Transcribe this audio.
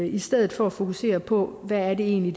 i stedet for at fokusere på hvad det egentlig